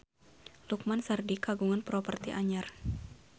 Lukman Sardi kagungan properti anyar